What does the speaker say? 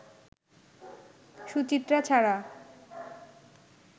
সুচিত্রা ছাড়া